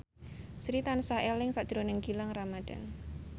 Sri tansah eling sakjroning Gilang Ramadan